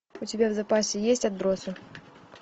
у тебя в запасе есть отбросы